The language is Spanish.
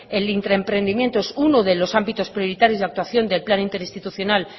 el intraemprendimiento es uno de los ámbitos prioritarios de actuación del plan interinstitucional